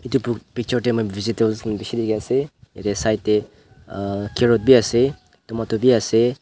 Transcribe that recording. etu pu picture tey moi vegetables khan peshi dekhi ase yete side uuh uuh carrot khan bi ase tomato bi ase.